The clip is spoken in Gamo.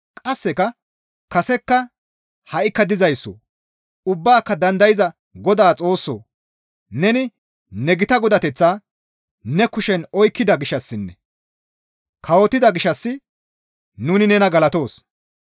Qasseka, «Kasekka, ha7ikka dizayssoo! Ubbaaka dandayza Godaa Xoossoo! Neni ne gita Godateththaa ne kushen oykkida gishshassinne kawotida gishshas nuni nena galatoos.